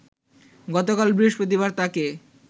গতকাল বৃহস্পতিবার তাকে